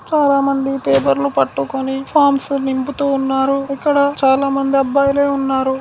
చాలా మంది పేపర్లు పట్టుకొని ఫామ్స్ నింపుతూ ఉన్నరు ఇక్కడ చాలా మంది అబ్బాయిలే ఉన్నారు.